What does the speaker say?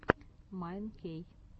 майн кей